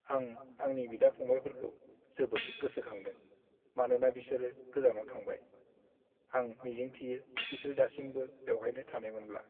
आं आंनि बिदा-फंबायफोरखौ जोबोद गोसोखांदों मानोना बिसोरो गोजानाव थांबाय। आं मिजिंथियो बिसोर दासिमबो बेवहायनो थानायमोनब्ला!